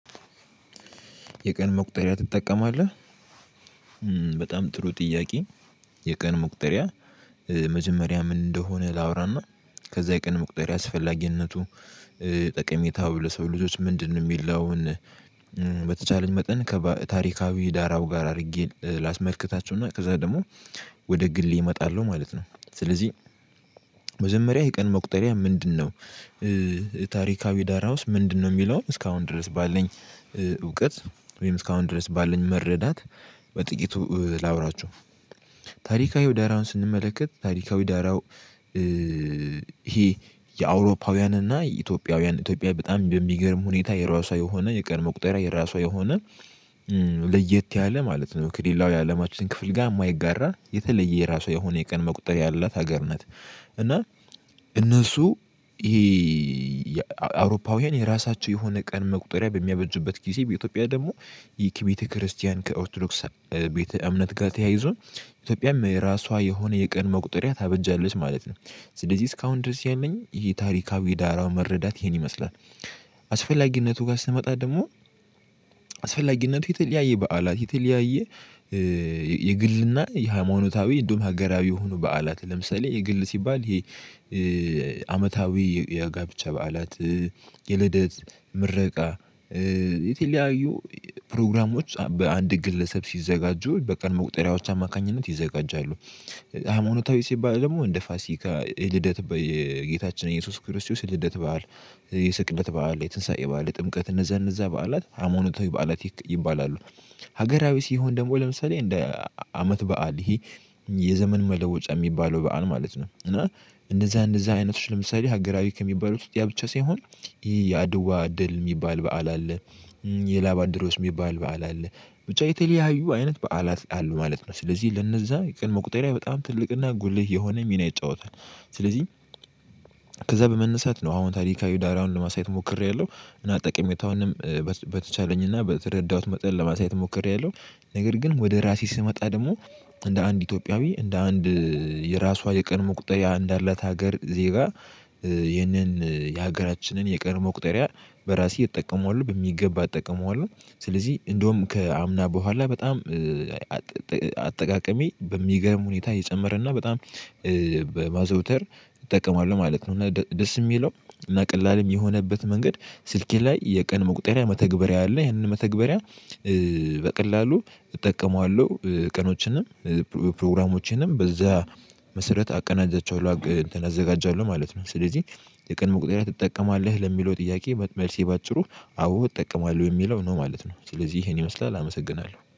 የቀን መቁጠሪያ ትጠቀማለህ? በጣም ጥሩ ጥያቄ የቀን መቁጠሪያ መጀመሪያ ምን እንደሆነ ላውራና ከዚያ የቀን መቁጠሪያ አስፈላጊነቱ ጠቀሜታው ለሰው ልጆች ምንድነው የሚለውን በተቻለኝ መጠን ከታሪካዊ ዳራው ጋር አድርጌ ላስመልክታችውና ከዚያ ደግሞ ወደ ግሌ እመጣለሁ ማለት ነው። ስለዚህ መጃመሪያ የቀን መቁጠሪያ ምንድነው? ታሪካዊ ዳራውስ ምንድነው የሚለውን እስካሁን ድረስ ባልኝ እውቀት ወይም እስካሁን ድረስ ባለኝ መረዳት በጥቂቱ ላውራቸው ታሪካዊ ደራውን ስንመለከት ታሪካዊ ዳራው። ይሄ የአውሮፓውያን እና የኢትዮጵያውያን ኢትዮጵያ በጣም በሚገርም ሁኔታ የራሷ የሆነ የቀድሞ ቁጠራ የራሷ የሆነ ለየት ያለ ማለት ነው ከሌላው አለማችን ክፍል ጋር የማይጋራ የተለየ የራሷ የሆነ የቀን መቁጠር ያላት ሀገር ነት። እና እነሱ ይሄ አውሮፓውያን የራሳቸው የሆነ ቀን መቁጠሪያ በሚያበጁበት ጊዜ በኢትዮጵያ ደግሞ ይህ ከቤተክርስቲያን ከኦርቶዶክስ ቤተ እምነት ጋር ተያይዞን ኢትዮጵያም የራሷ የሆነ የቀን መቁጠሪያ ታበጃለች ማለት ነው። ስለዚህ እስካሁን ድረስ ያለኝ ይህ ታሪካዊ ዳራው መረዳት ይሄን ይመስላል። አስፈላጊነቱ ጋር ስመጣ ደግሞ አስፈላጊነቱ የተለያየ በዓላት የተለያየ የግልና የሃይማኖታዊ እንደውም ሀገራዊ የሆኑ በዓላት ለምሳሌ የግል ሲባል ይሄ የጋብቻ በዓላት የልደት ምረቃ የተለያዩ ፕሮግራሞች በአንድ ግለሰብ ሲዘጋጁ በቀን መቁጠሪያዎች አማካኝነት ይዘጋጃሉ። ሃይማኖታዊ ሲባል ደግሞ እንደ ፋሲካ የልደት በጌታችን ኢየሱስ ክርስቶስ የልደት በዓል የስቅለት በዓል የትንሳኤ በዓል የጥምቀት እነዚያ እነዚያ በዓላት ሃይማኖታዊ በዓላት ይባላሉ። ሀገራዊ ሲሆን ደግሞ ለምሳሌ እንደ አመት በዓል ይሄ የዘመን መለወጫ የሚባለው በዓል ማለት ነው። እና እንደዚያ እንደዚያ አይነቶች ለምሳሌ ሀገራዊ ከሚባሉት ያ ብቻ ሳይሆን የአድዋ ድል የሚባል በዓል አለ። የላብ አደሮች የሚባል በዓል አለ። ብቻ የተለያዩ አይነት በዓላት አሉ ማለት ነው። ስለዚህ ለነዚያ የቀን መቁጠሪያ በጣም ትልቅና ጉልህ የሆነ ሚና ይጫወታል። ስለዚህ ከዚያ በመነሳት ነው አሁን ታሪካዊ ዳራውን ለማሳየት ሞክሬያለሁ እና ጠቀሜታውንም በተቻለኝና በተረዳሁት መጠን ለማሳየት ሞክሬያለሁ። ነገር ግን ወደ ራሴ ስመጣ ደግሞ እንደ አንድ ኢትዮጵያዊ እንደ አንድ የራሷ የቀን መቁጠሪያ እንዳለች ሀገር ዜጋ ይህንን የሀገራችንን የቀን መቁጠሪያ በራሴ እጠቀመዋለሁ በሚገባ እጠቀመዋለሁ። ስለዚህ እንደውም ከአምና በኋላ በጣም አጠቃቀሜ በሚገርም ሁኔታ እየጨመረ እና በጣም በማዘውተር እጠቀማለሁ ማለት ነው። እና ደስ የሚለው እና ቀላሉም የሆነበት መንገድ ስልኬ ላይ የቀን መቁጠሪያ መተግበሪያ አለ ይሄንን መተግበሪያ በቀላሉ እጠቀመዋለሁ ቀኖችንም ፕሮግራሞችንም በዚያ መሰረት አቀናጃቸዋለሁ አዘጋጃለሁ ማለት ነው። ስለዚህ የቀን መቁጠሪያ ትጠቀማለህ? ለሚለው ጥያቄ መልሴ በአጭሩ አዎ እጠቀማለሁ የሚለው ነው ማለት ነው። ስለዚህ ይሄን ይመስላል አመሰግናለሁ